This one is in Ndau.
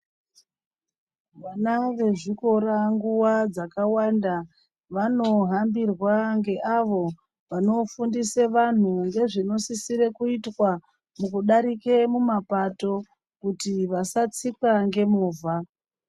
Vana wezvikora nguva dzakawanda wanohambirwa ngeawo wanofundise vanhu ngezvinosisire kuitwa mukudarika mumapato kuti wasatsikwa ngemovha.